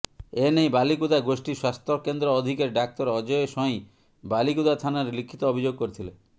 ଏ ନେଇ ବାଲିକୁଦା ଗୋଷ୍ଠୀ ସ୍ୱାସ୍ଥ୍ୟକେନ୍ଦ୍ର ଅଧିକାରୀ ଡାକ୍ତର ଅଜୟ ସ୍ୱାଇଁ ବାଲିକୁଦା ଥାନାରେ ଲିଖିତ ଅଭିଯୋଗ କରିଥିଲେ